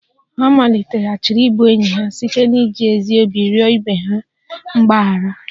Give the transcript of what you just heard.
Ha maliteghachiri ịbụ enyi ha site n'iji ezi obi rịọ ibe ha mgbaghara